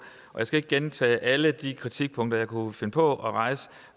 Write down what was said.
jeg skal ikke gentage alle de kritikpunkter jeg kunne finde på at rejse